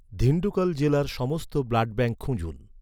ধিনডুকল জেলার সমস্ত ব্লাডব্যাঙ্ক খুঁজুন